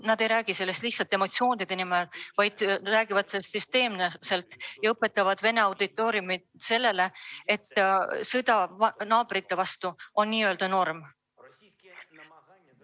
Nad ei räägi sellest lihtsalt emotsioonide ajel, vaid nad räägivad sellest süsteemselt ja õpetavad Vene auditooriumile, et sõda naabrite vastu on norm.